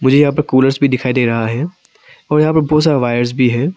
मुझे यहां पर कूलर्स भी दिखाई दे रहा है और ढेर सारे वायर भी हैं।